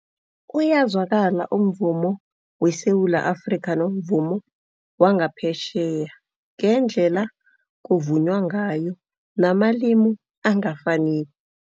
Uyazwakala umvumo weSewula Afrika nomvumo wangaphetjheya, ngendlela kuvunywa ngayo namalimu angafaniko.